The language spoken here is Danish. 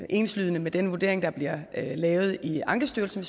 enslydende med den vurdering der bliver lavet i ankestyrelsen